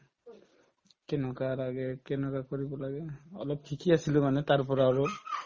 কেনেকুৱা লাগে কেনেকুৱা কৰিব লাগে অলপ শিকি আছিলো মানে তাৰপৰা অলপ